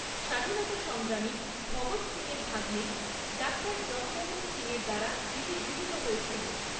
স্বাধীনতা সংগ্রামী ভগৎ সিংয়ের ভাগ্নে ডাক্তার জগমোহন সিংয়ের দ্বারা এটি গৃহিত হয়েছিল।